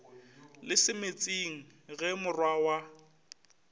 le semetsing ge morwa wa